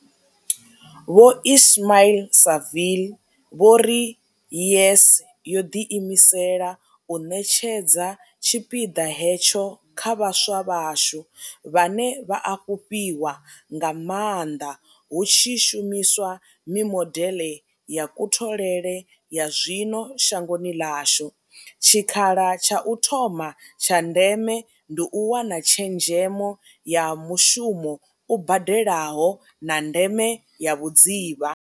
Vho Ismail-Saville vho ri YES yo ḓiimisela u ṋetshedza tshipiḓa hetsho kha vhaswa vhashu, vhane vha a fhufhiwa nga maanḓa hu tshi shumiswa mimodeḽe ya kutholele ya zwino shangoni ḽashu, tshikhala tsha u thoma tsha ndeme ndi u wana tshezhemo ya mushumo u badelaho, na ndeme ya vhudzivha.